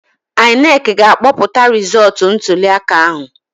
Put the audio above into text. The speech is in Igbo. INEC ga-akpọpụta rizọtụ ntuliaka ahụ